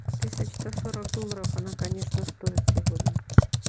тысяч сто сорок долларов она конечно стоит сегодня